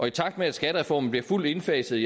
i takt med at skattereformen bliver fuldt indfaset